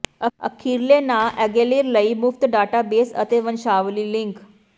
ਅਖੀਰਲੇ ਨਾਂ ਅਗੇਲੀਰ ਲਈ ਮੁਫ਼ਤ ਡਾਟਾਬੇਸ ਅਤੇ ਵੰਸ਼ਾਵਲੀ ਲਿੰਕ